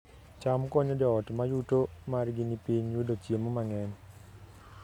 cham konyo joot ma yuto margi ni piny yudo chiemo mang'eny